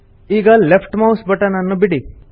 ಈಗ left mouse button ನನ್ನು ಬಿಡಿ